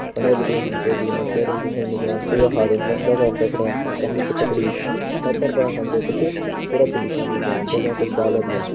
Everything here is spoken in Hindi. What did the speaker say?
फुंडे बिटि हम त दिखेण लग्यां जून हाथों तसला छन पकड़यां और कन्नी छ पकड़ीं। पैथर पर हम त कुछ कूड़ा छन दिखेणा लग्यां जफुन कुछ डाला भी छन।